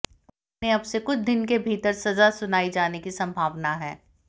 उन्हें अब से कुछ दिन के भीतर सजा सुनाई जाने की संभावना है